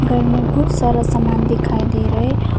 पर मे बहुत सारा सामान दिखाई दे रहे--